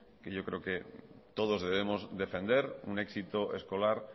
yo creo que todos debemos defender un éxito escolar